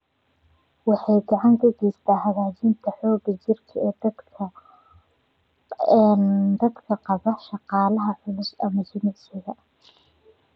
Waxay gacan ka geysataa hagaajinta xoogga jireed ee dadka qaba shaqada culus ama jimicsiga.